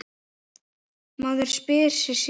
Maður spyr sig sí svona.